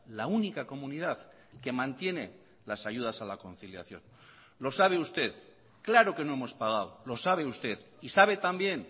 la única comunidad que mantiene las ayudas a la conciliación lo sabe usted claro que no hemos pagado lo sabe usted y sabe también